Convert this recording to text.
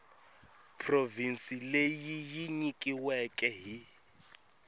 provhinsi leyi yi nyikiweke hi